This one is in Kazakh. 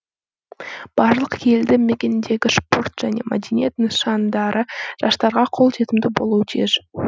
барлық елді мекендегі спорт және мәдениет нысандары жастарға қолжетімді болуы тиіс